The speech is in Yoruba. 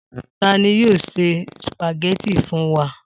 Ta ni yóò se sùpàgẹ́tì fún wa?